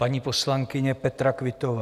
Paní poslankyně Petra Quittová.